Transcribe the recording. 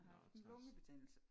Nå hvor træls